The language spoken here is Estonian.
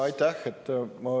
Aitäh!